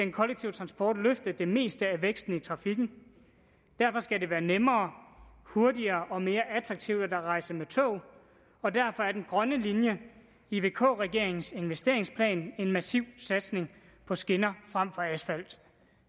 transport løfte det meste af væksten i trafikken derfor skal det være nemmere hurtigere og mere attraktivt at rejse med tog og derfor er den grønne linje i vk regeringens investeringsplan en massiv satsning på skinner frem for asfalt